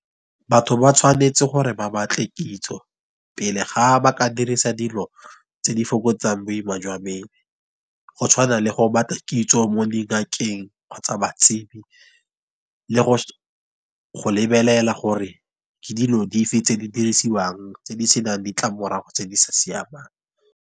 Batho ba tshwanetse gore ba batle kitso pele ga ba ka dirisa dilo tse di fokotsang boima jwa mmele. Go tshwana le go ba tla kitso mo dingakeng kgotsa batsebi le go lebelela gore ke dilo di fe tse di dirisiwang tse di senang ditlamorago tse di sa siamang.